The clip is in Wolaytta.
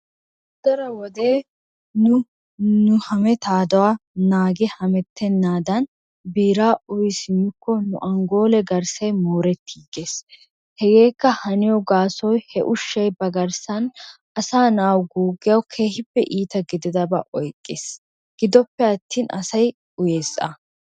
Daro wode nu nu hameetaaduwa naagi hamettenaadan biira uyi simmikko nu anggoolee garssay moorettiigees, hegeekka haniyo gaasoy he ushshay ba garssan asaa na'a guuggiyawu keehippe iitta gudiddabaa oyqees. giddoppe atin asay uyees a.